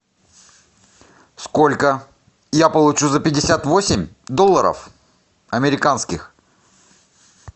сколько я получу за пятьдесят восемь долларов американских